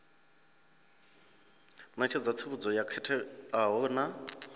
ṋetshedza tsivhudzo yo khetheaho na